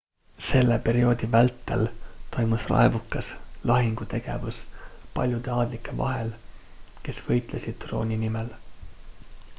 selle perioodi vältel toimus raevukas lahingutegevus paljude aadlike vahel kes võitlesid trooni nimel